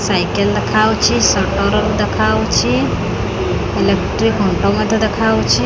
Cycle ଦେଖାଯାଉଛି ସଟରଲ ଦେଖାଯାଉଛି ଇଲେକ୍ଟ୍ରିକ୍ ଖୁଣ୍ଟ ମଧ୍ୟ ଦେଖା ଯାଉଛି।